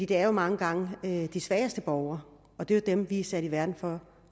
det er mange gange de svageste borgere og det er jo dem vi er sat i verden for